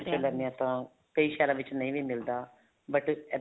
ਲੈਨੇ ਹਾਂ ਤਾਂ ਕਈ ਸ਼ਹਿਰਾ ਵਿੱਚ ਨਹੀਂ ਵੀ ਮਿਲਦਾ but ਇਹਦਾ